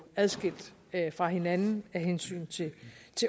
adskilt fra hinanden af hensyn til